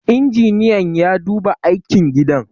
injiniyan ya duba aikin gidan